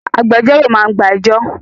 Agbẹjọ́rò máa gba ẹjọ́